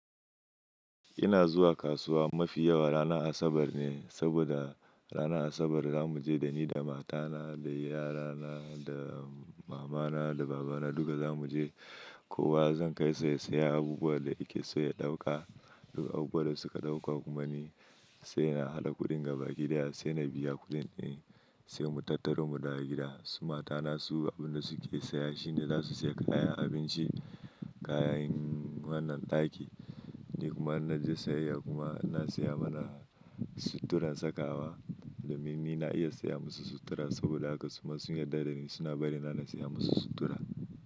Ina zuwa kasuwa mafi yawa ranar Asabar ne, saboda ranar Asabar za mu je da ni, da matana, da yarana, da mamana, da babana duka za mu je. Kowa zan kai sa, ya sayi abubuwan da yake so ya ɗauka. Duk abubuwan da suka ɗauka kuma ni sai na haɗa kuɗin ga baki daya sai na biya kuɗin, sai mu tattaro mu dawo gida. Su matana su abin da suke saya shine za su saya kayan abinci, kayan wannan ɗaki. Ni kuma in na je sayayya kuma ina saya mana suturar sakawa. Domin ni na iya saya musu sutura saboda haka su kuma sun yarda da ni suna bari na na saya musu sutura.